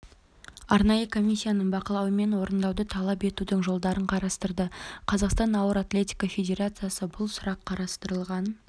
арнайы комиссияның бақылауымен орындауды талап етудің жолдарын қарастырды қазақстан ауыр атлетика федерациясы бұл сұрақ қарастырылған